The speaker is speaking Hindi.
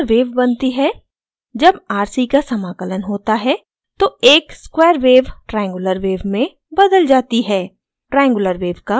एक triangular wave बनती है जब rc समाकलन होता है तो एक square wave triangular wave में बदल जाती है